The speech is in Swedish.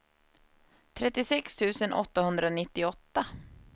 trettiosex tusen åttahundranittioåtta